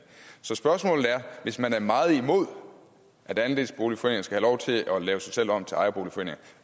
så spørgsmålet er hvis man er meget imod at andelsboligforeninger skal have lov til at lave sig selv om til ejerboligforeninger